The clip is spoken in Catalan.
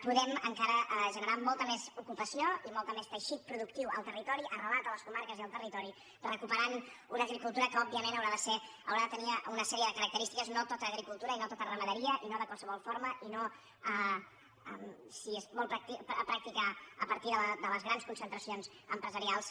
podem encara ge·nerar molta més ocupació i molt més teixit productiu en el territori arrelat a les comarques i en el territori recuperant una agricultura que òbviament haurà de tenir una sèrie de característiques no tota agricultu·ra i no tota ramaderia i no de qualsevol forma i no si es vol practicar a partir de les grans concentracions empresarials